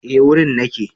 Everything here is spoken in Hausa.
Eh wurin nake